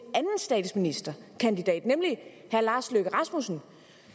statsministerkandidat nemlig herre lars løkke rasmussen